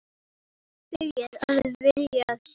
Byrjuð að vilja sjá.